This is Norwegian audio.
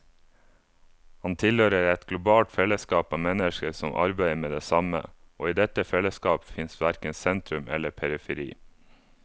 Han tilhører et globalt fellesskap av mennesker som arbeider med det samme, og i dette fellesskapet fins verken sentrum eller periferi.